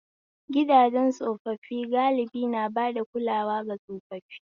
Gidajen tsofaffi galibi na bada kulawa ga tsofaffi